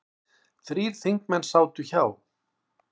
Þrír þingmenn sátu hjá